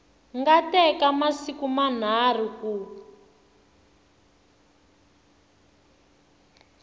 nga teka masiku manharhu ku